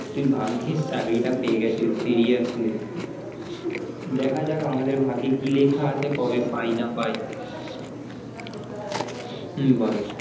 তুই ভাগ্যিস চাকরিটা পেয়েগেছিস seriously দেখা যাক আমাদের ভাগ্যে কি লেখা আছে কবে পাই না পাই হম বল